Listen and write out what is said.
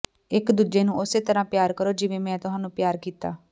ਇੱਕ ਦੂਜੇ ਨੂੰ ਉਸੇ ਤਰ੍ਹਾਂ ਪਿਆਰ ਕਰੋ ਜਿਵੇਂ ਮੈਂ ਤੁਹਾਨੂੰ ਪਿਆਰ ਕੀਤਾ